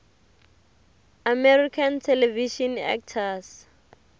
american television actors